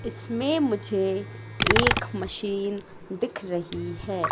इसमें मुझे एक मशीन दिख रही है।